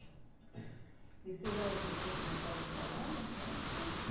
E você já já tinha começado a trabalhar nessa época?